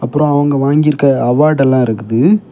அப்பறோ அவங்க வாங்கிருக்க அவார்ட் எல்லா இருக்குது.